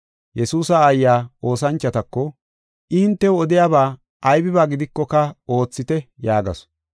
Yesuusa aayiya oosanchotako, “I hintew odiyaba aybiba gidikoka oothite” yaagasu.